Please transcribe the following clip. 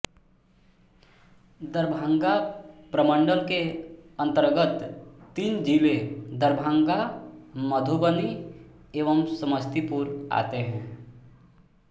दरभंगा प्रमंडल के अंतर्गत तीन जिले दरभंगा मधुबनी एवं समस्तीपुर आते हैं